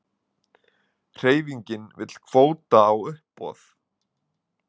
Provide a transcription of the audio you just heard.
Hreyfingin vill kvóta á uppboð